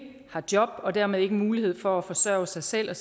har job og dermed ikke har mulighed for at forsøge sig selv og